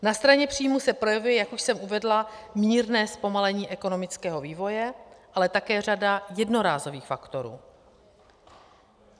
Na straně příjmů se projevuje, jak už jsem uvedla, mírné zpomalení ekonomického vývoje, ale také řada jednorázových faktorů.